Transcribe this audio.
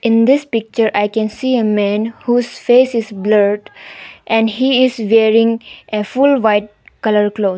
In this picture I can see a man whose face is blurred and he is wearing a full white colour clothes.